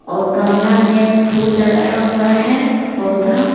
और गमला में फूल लगाया हुआ है पौधा--